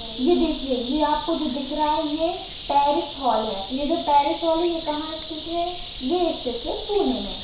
ये देखिए ये आपको जो दिख रहा ये पेरिस हॉल है ये जो पेरिस हॉल है ये कहा स्थित है ये स्थित है पुणे मे।